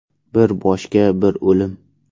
Bir boshga bir o‘lim”.